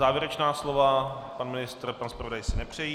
Závěrečná slova: pan ministr, pan zpravodaj si nepřejí.